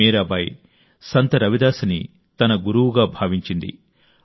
మీరాబాయి సంత్ రవిదాస్ని తన గురువుగా భావించింది